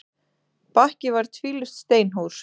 Bakki var tvílyft steinhús.